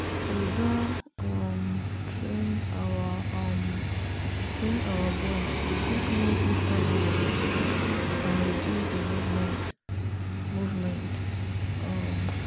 we doh um train our um boys to quick know if animal dey sick and reduce the movement. movement. um